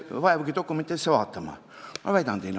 " Ei vaevutagi dokumente vaatama.